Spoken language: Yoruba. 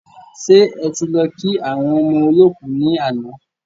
Ṣe ẹ ti lọ kí àwọn ọmọ olọ́kù ni àná?